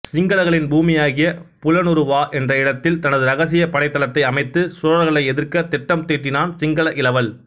சிங்களர்களின் பூமியாகிய புலனருவா என்ற இடத்தில் தனது ரகசியப் படைத்தளத்தை அமைத்து சோழர்களை எதிர்க்க திட்டம் தீட்டினான் சிங்கள இளவல்